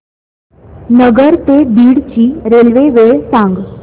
नगर ते बीड ची रेल्वे वेळ सांगा